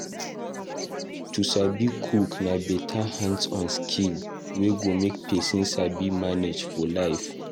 To sabi cook na beta hands-on skill wey go make person sabi manage for life.